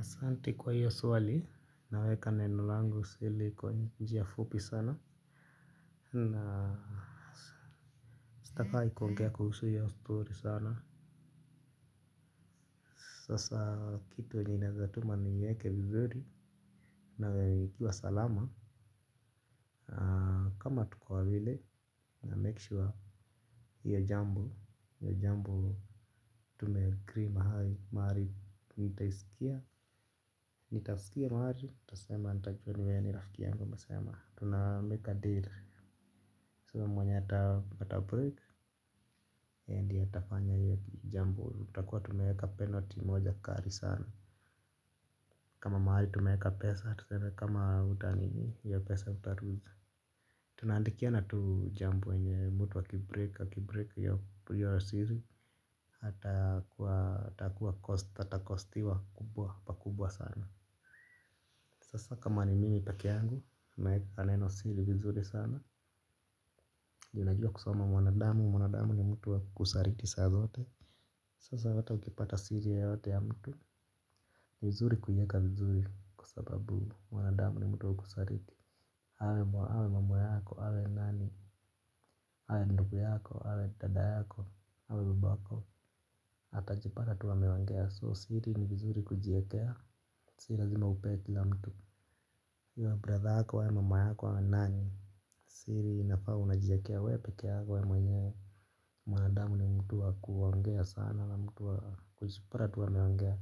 Asante kwa hiyo swali naweka neno lango seli kwa njia fupi sana na huwa sitaki kuongea kuhusu hiyo stori sana. Sasa kitu yenye inaeza tuma niweke vizuri na ikiwa salama. Kama tuko wawili na make sure hiyo jambo tumeagree mahali mahali nitaisikia. Nitaisikia mahali tasema nitajua ni wewe ni rafiki yangu umesema tunamake a deal tuseme mwenye atabreak yeye ndiye atafanya hiyo jambo tutakuwa tumeweka penalty moja kali sana. Kama mahali tumeweka pesa tuseme kama utanini ya pesa utaloose. Tunaandikiana tu jambo yenye mtu akibreak akibreak hiyo siri atakuwa atakuwa costiwa atakostiwa kubwa pakubwa sana. Sasa kama ni mimi pekee yangu naeka neno siri vizuri sana juu najua kusoma mwanadamu mwanadamu ni mtu wa kusaliti saa zote. Sasa hata ukipata siri yeyote ya mtu ni vizuri kuiweka vizuri kwa sababu mwanadamu ni mtu wa kusaliti. Awe mama yako, awe nani, awe ndugu yako, awe dada yako, awe baba yako, atajipata tuwa ameongea so siri ni vizuri kujiekea, si lazima upe kila mtu iwe brother yako iwe mama yako awe nani, siri inafaa unajiekea wewe pekee yako wewe mwenyewe. Mwanadamu ni mtu wa kuongea sana na mtu wa kujipata tu ameongea.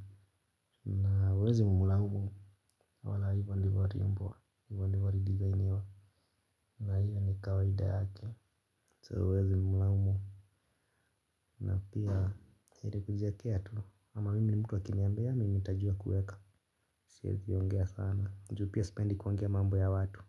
Na huwezi mlamu wala hivyo ndivyo aliumbwa hivyo ndivyo adesigniwa na hiyo ni kawaida yake so huwezi mlaumu na pia heri kujiekea tu. Ama mimi mtu wa akiniambia mimi nitajua kuweka siwezi ongea sana juu pia sipendi kuongea mambo ya watu.